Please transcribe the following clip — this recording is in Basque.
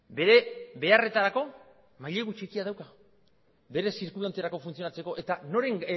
bere beharretarako mailegu txikia dauka bere zirkulanterako funtzionatzeko eta noren